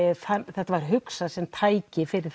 þetta var hugsað sem tæki fyrir